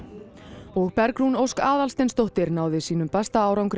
og Bergrún Ósk Aðalsteinsdóttir náði sínum besta árangri